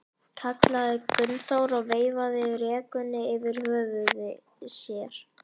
kallaði Gunnþór og veifaði rekunni yfir höfði sér.